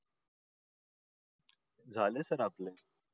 झालं सर आपलं